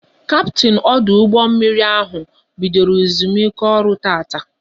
Kaptin ọdụ ụgbọ mmiri ahụ bidoro ezumike ọrụ tataa